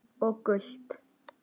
Og gult?